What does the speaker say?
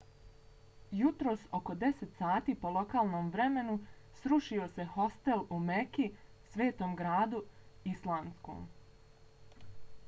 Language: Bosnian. jutros oko 10 sati po lokalnom vremenu srušio se hostel u meki svetom islamskom gradu